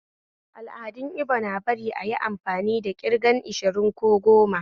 Al'adun Ibo na bari ayi amfani da ƙirgan ashiru ko goma